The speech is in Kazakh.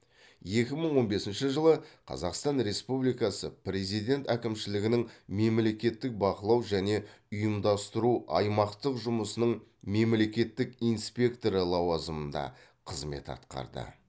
екі мың он бесінші жылы қазақстан республикасы президент әкімшілігінің мемлекеттік бақылау және ұйымдастыру аймақтық жұмысының мемлекеттік инспекторы лауазымында қызмет атқарды